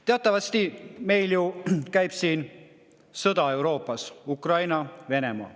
Teatavasti meil käib sõda siin Euroopas: Ukraina-Venemaa.